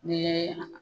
Ni ye